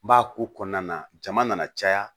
N b'a ko kɔnɔna na jama nana caya